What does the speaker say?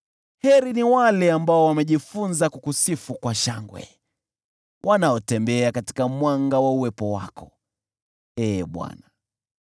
Heri ni wale ambao wamejifunza kukusifu kwa shangwe, wanaotembea katika mwanga wa uwepo wako, Ee Bwana .